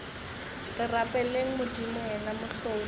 re rapeleng modimo yena mohlodi